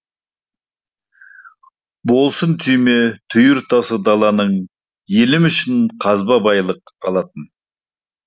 болсын түйме түйір тасы даланың елім үшін қазба байлық алатын